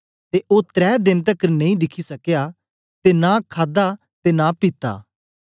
ते ओ त्रै देन तकर नेई दिखी सकया ते नां खादा ते नां पीता